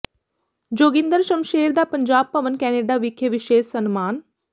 ਜੋਗਿੰਦਰ ਸ਼ਮਸ਼ੇਰ ਦਾ ਪੰਜਾਬ ਭਵਨ ਕੈਨੈਡਾ ਵਿਖੇ ਵਿਸ਼ੇਸ਼ ਸਨਮਾਨ